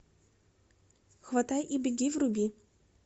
хватай и беги вруби